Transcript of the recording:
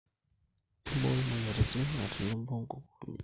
Mbooi imoiarirrin otenebo nkukunik.